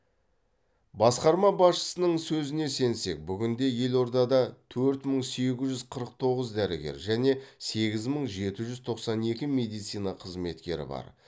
басқарма басшысының сөзіне сенсек бүгінде елордада төрт мың сегіз жүз қырық тоғыз дәрігер және сегіз мың жеті жүз тоқсан екі медицина қызметкері бар